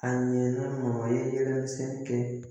A ɲɛna maa ye san kɛ